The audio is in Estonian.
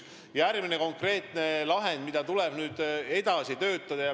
Järgmisena on ääretult oluline konkreetne lahend, millega tuleb edasi töötada.